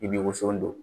I bɛ woson don